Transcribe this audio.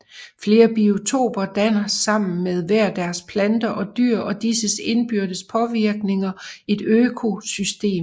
Flere biotoper danner sammen med hver deres planter og dyr og disses indbyrdes påvirkninger et økosystem